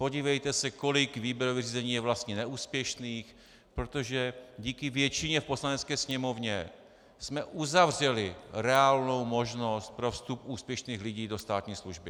Podívejte se, kolik výběrových řízení je vlastně neúspěšných, protože díky většině v Poslanecké sněmovně jsme uzavřeli reálnou možnost pro vstup úspěšných lidí do státní služby.